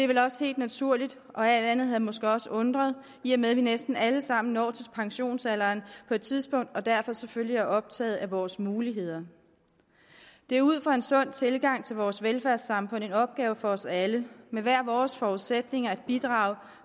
vel også helt naturligt og alt andet havde måske også undret i og med at vi næsten alle sammen når til pensionsalderen på et tidspunkt og derfor selvfølgelig er optaget af vores muligheder det er ud fra en sund tilgang til vores velfærdssamfund en opgave for os alle med hver vores forudsætninger at bidrage